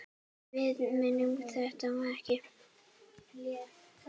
Við megum þetta ekki!